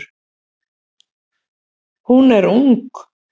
Hún er ung.